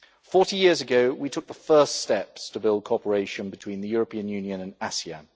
Forty years ago, we took the first steps to build cooperation between the European Union and ASEAN.